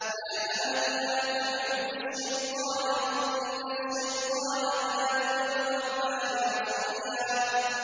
يَا أَبَتِ لَا تَعْبُدِ الشَّيْطَانَ ۖ إِنَّ الشَّيْطَانَ كَانَ لِلرَّحْمَٰنِ عَصِيًّا